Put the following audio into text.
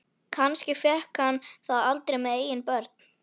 Kannski fékk hann það aldrei með eigin börn.